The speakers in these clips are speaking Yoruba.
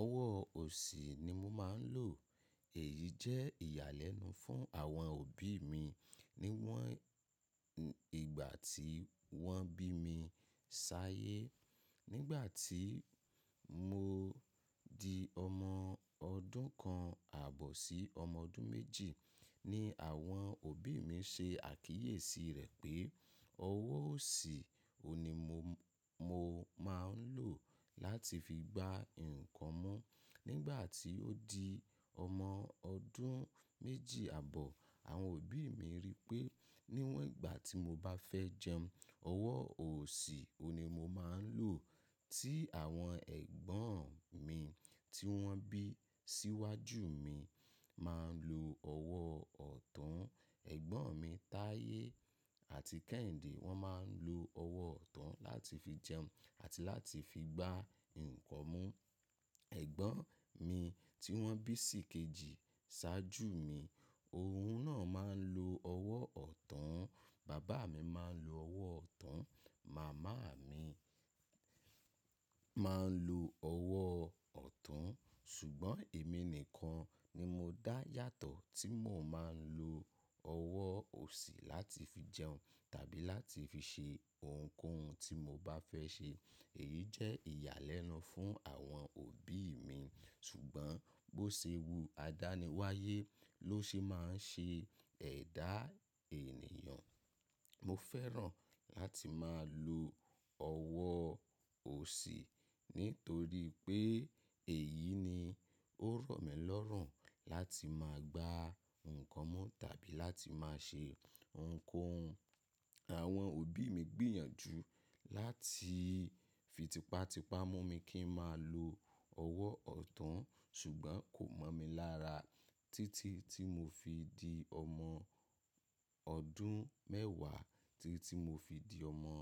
Ọwọ́ òsì ni mo máa ń lò. Èyí jẹ́ ìyàlẹ́nu fún àwọn òbí mi níwọ́n ìgbà tí wọ́n bí mi ṣáyé. Nígbà tí mo di ọmọ ọdún kan àbọ̀ sí ọmọ ọdún méjì ni àwọn òbí mi ṣe àkíyèsí rẹ̀ pé ọwọ́ òsì òní mo, mo máa ń lò láti fi gba nǹkan mu Nígbà tí ó di ọmọ ọdún méjì àbọ̀, àwọn òbí mi rí pé níwọ́n ìgbà tí mo bá fẹ́ jẹun, ọwọ́ òsì òní mo máa ń lò tí àwọn ẹ̀gbọ́n mi tí wọ́n bí síwájú mi máa ń lo ọwọ́ ọ̀tún. Ẹ̀gbọ́n mi Táyé àti Kẹ́hìndé wọ́n máa ń lo ọwọ́ ọ̀tún láti fi jẹun àti láti fi gba nǹkan mu. Ẹ̀gbọ́n mi tí wọ́n bí sìkejì ṣáájú mi, òun náà máa ń lo ọwọ́ ọ̀tún. Bàbá mi máa ń lo ọwọ́ ọ̀tún. Màmá mi máa ń lo ọwọ́ ọ̀tún. Ṣùgbọ́n èmi nìkan ni mo dá yàtọ̀ tí mo máa ń lo ọwọ́ òsì láti fi jẹun tàbí láti fi ṣe ohunkóhun tí mo bá fẹ́ ṣe. Èyí jẹ́ ìyàlẹ́nu fún àwọn òbí mi ṣùgbọ́n bó ṣe wu, adániwáyé ló ṣe máa ń ṣe ẹ̀dá ènìyàn. Mo fẹ́ràn láti máa lo ọwọ́ òsì nítorí pé èyí ni ó rọ̀ mí lọ́rùn láti máa gba nǹkan mu tàbí láti máa ṣe ohunkóhun. Àwọn òbí mi gbìyànjú láti fí tipátipá mú mi kí ń máa lo ọwọ́ ọ̀tún ṣùgbọ́n kò mọ̀ mi lára títí tí mo fi di ọmọ ọdún mẹ́wàá títí tí mo fi di ọmọ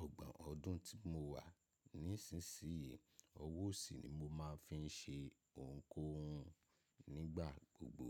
ọgbọ̀n ọdún tí mo wà nísinsìnyí, ọwọ́ òsì ni mo máa ń fi ṣe ohunkóhun nígbà gbogbo.